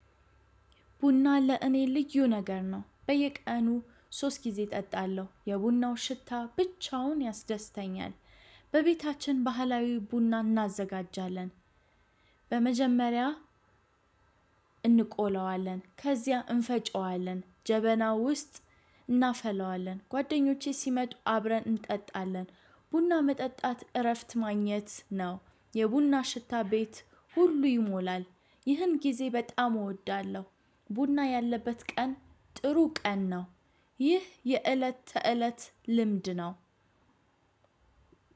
ቡና ለእኔ ልዩ ነገር ነው። በየቀኑ ሶስት ጊዜ እጠጣለሁ። የቡናው ሽታ ብቻውን ያስደስተኛል። በቤታችን ባህላዊ ቡና እናዘጋጃለን። በመጀመሪያ እንቆላዋለን ከዚያ እንፈጨዋለን ጀበና ውስጥ እናፈለዋለን። ጓደኞቼ ሲመጡ አብረን እንጠጣለን። ቡና መጠጣት እረፍት ማግኘት ነው። የቡና ሽታ ቤት ሁሉ ይሞላል። ይህን ጊዜ በጣም እወዳለሁ። ቡና ያለበት ቀን ጥሩ ቀን ነው። ይህ የእለት ተእለት ልምድ ነው።